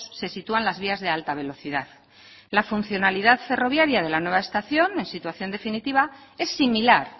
se sitúan las vías de alta velocidad la funcionalidad ferroviaria de la nueva estación en situación definitiva es similar